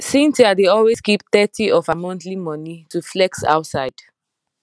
cynthia dey always keep thirty of her monthly money to flex outside